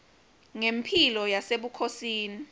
ngemphilo yasebukhosini